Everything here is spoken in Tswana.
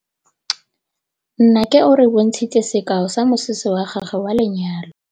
Nnake o re bontshitse sekaô sa mosese wa gagwe wa lenyalo.